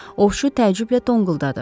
Ovçu təəccüblə donquldadı.